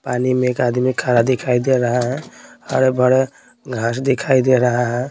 पानी में एक आदमी खारा दिखाई दे रहा है हरा भरा घास दिखाई दे रहा है।